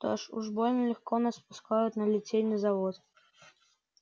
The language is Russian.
что-то уж больно легко нас пускают на литейный завод